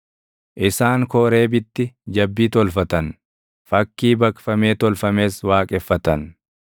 Isaan Kooreebitti jabbii tolfatan; fakkii baqfamee tolfames waaqeffatan.